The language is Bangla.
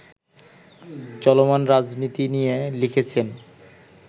চলমান রাজনীতি নিয়ে লিখেছেন